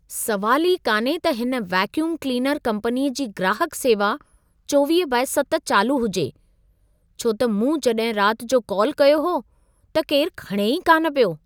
सवाल ई कान्हे त हिन वैक्यूम क्लीनर कंपनीअ जी ग्राहक सेवा 24/7 चालू हुजे। छो त मूं जॾहिं रात जो कॉल कयो हो, त केर खणे ई कान पियो।